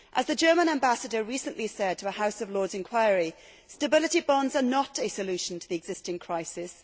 As the German Ambassador recently said to a House of Lords inquiry, stability bonds are not a solution to the existing crisis.